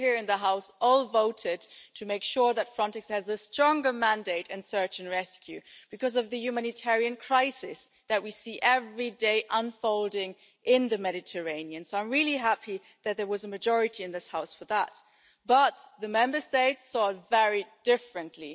We here in the House all voted to make sure that Frontex has a stronger mandate in search and rescue because of the humanitarian crisis that we see unfolding in the Mediterranean every day. So I'm really happy that there was a majority in this House for that. But the Member States saw it very differently.